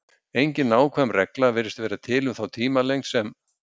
Engin nákvæm regla virðist vera til um þá tímalengd sem